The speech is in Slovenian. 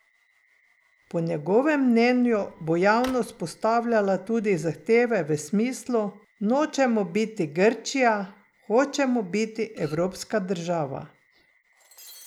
Po njegovem mnenju bo javnost postavljala tudi zahteve v smislu: 'Nočemo biti Grčija, hočemo biti evropska država.